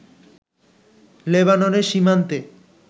লেবাননের সীমান্তে